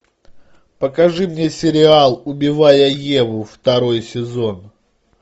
покажи мне сериал убивая еву второй сезон